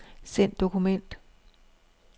Send dokument.